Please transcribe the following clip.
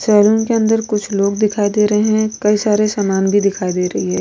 Salon के अंदर कुछ लोग दिखयी दे रहे है कई सारे सामान भी दिखाई दे रही है।